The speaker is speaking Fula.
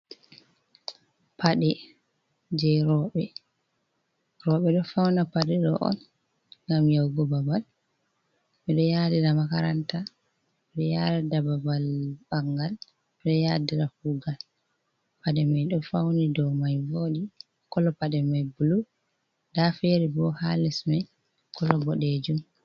Pade je r robe do fauna pade do on gam yahugo babal bido yadi da makaranta bre yadada babal bangal bre yadira kugal pade mai do fauni dow mai vodi kolo pade mai blu da feri bo ha lesmai kolo go dejum.